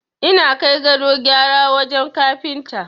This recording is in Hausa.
Ina kai gadon gyara wajen Kafinta.